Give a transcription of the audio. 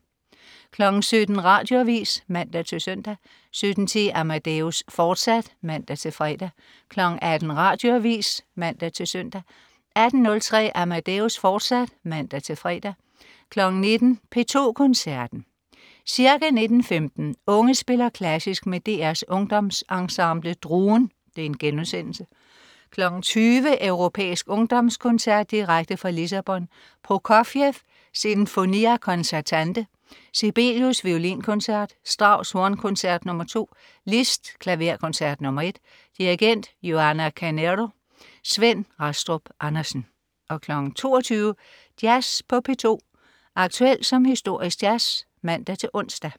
17.00 Radioavis (man-søn) 17.10 Amadeus, fortsat (man-fre) 18.00 Radioavis (man-søn) 18.03 Amadeus. Fortsat (man-fre) 19.00 P2 Koncerten. Ca. 19. 15 Unge Spiller Klassisk. Med DR's Ungdomsensemble DRUEN*. 20.00 Europæisk ungdomskoncert direkte fra Lissabon. Prokofjev: Sinfonia concertante. Sibelius. Violinkoncert. Strauss: Hornkoncert nr. 2. Liszt: Klaverkoncert nr. 1. Dirigent: Joana Carneiro. Svend Rastrup Andersen 22.00 Jazz på P2. Aktuel som historisk jazz (man-ons)